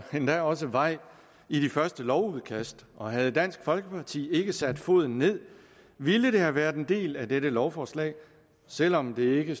endda også vej ind i de første lovudkast og havde dansk folkeparti ikke sat foden ned ville det have været en del af dette lovforslag selv om det ikke